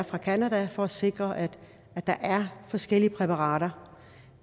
fra canada for at sikre at der er forskellige præparater